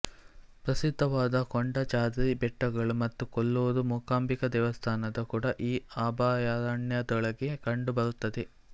ಪ್ರಸಿದ್ಧವಾದ ಕೊಡಚಾದ್ರಿ ಬೆಟ್ಟಗಳು ಮತ್ತು ಕೊಲ್ಲೂರು ಮೂಕಾಂಬಿಕಾ ದೇವಸ್ಥಾನ ಕೂಡ ಈ ಅಭಯಾರಣ್ಯದೊಳಗೆ ಕಂಡು ಬರುತ್ತದೆ